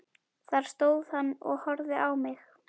Þar stóð hann og horfði á mig.